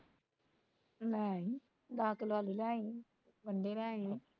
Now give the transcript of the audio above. ਲੈ ਆਈ, ਦੱਸ ਕਿਲੋ ਆਲੂ ਲੈ ਆਈ, ਪੰਡੇ ਲੈ ਆਈ